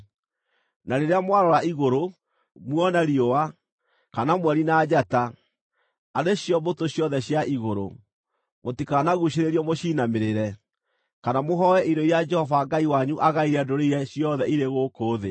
Na rĩrĩa mwarora igũrũ, muona riũa, kana mweri na njata, arĩ cio mbũtũ ciothe cia igũrũ, mũtikanaguucĩrĩrio mũciinamĩrĩre, kana mũhooe indo iria Jehova Ngai wanyu aagaĩire ndũrĩrĩ iria ciothe irĩ gũkũ thĩ.